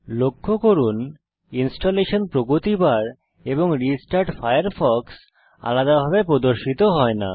লক্ষ্য করুন ইনস্টলেশন প্রগতি বার এবং রেস্টার্ট ফায়ারফক্স আলাদাভাবে প্রদর্শিত হয় না